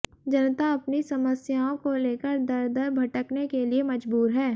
जनता अपनी समस्याओं को लेकर दर दर भटकने के लिए मजबूर है